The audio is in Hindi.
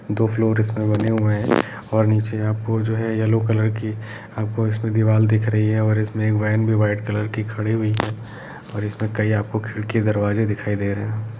दो फ्लोर इस में बने हुए हैं और नीचे आपको जो है येलो कलर की आपको इसमे दीवाल दिख रही है और इसमे एक वेन भी वाइट कलर की खड़ी हुई है और इसमें कईं आपको खिड़कियां दरवाजे दिखाई दे रहे हैं।